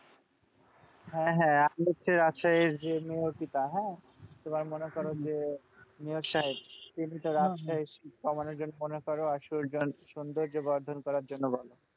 হ্যাঁ হ্যাঁ আর হচ্ছে রাজশাহীর যে মেয়রপিতা হ্যাঁ তোমার মনে করো যে মেয়র সাহেব তিনি তো রাজশাহীর শীত কমানোর জন্য মনে করো আর সৌন্দর্য বর্ধন করার জন্য বলে।